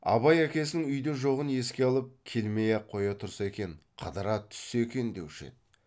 абай әкесінің үйде жоғын еске алып келмей ақ қоя тұрса екен қыдыра түссе екен деуші еді